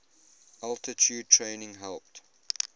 altitude training helped